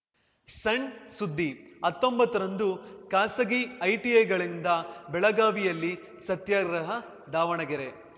ಸಣ್‌ ಸುದ್ದಿ ಹತ್ತೊಂಬತ್ತ ರಂದು ಖಾಸಗಿ ಐಟಿಐಗಳಿಂದ ಬೆಳಗಾವಿಯಲ್ಲಿ ಸತ್ಯಾಗ್ರಹ ದಾವಣಗೆರೆ